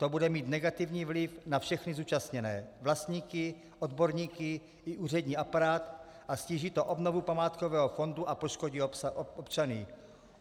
To bude mít negativní vliv na všechny zúčastněné - vlastníky, odborníky i úřední aparát - a ztíží to obnovu památkového fondu a poškodí občany.